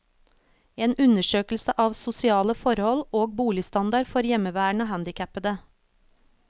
En undersøkelse av sosiale forhold og boligstandard for hjemmeværende handikappede.